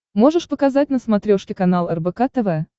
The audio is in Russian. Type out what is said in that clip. можешь показать на смотрешке канал рбк тв